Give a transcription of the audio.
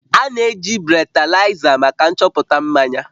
A na-eji bretalaiza maka nchọpụta mmanya